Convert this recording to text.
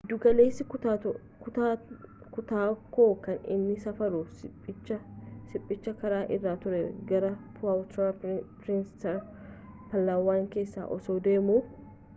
giddu galeessi kutaakoo kan inni safaruu shipicha shipichi karaa irraa ture garaa puwerto prinseesa palawan keessaa osoo deemu